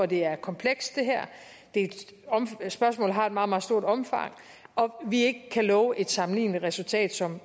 det her er komplekst spørgsmålet har et meget meget stort omfang og at vi ikke kan love et sammenligneligt resultat som